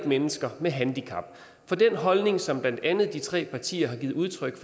mennesker med handicap for den holdning som blandt andet de tre partier har givet udtryk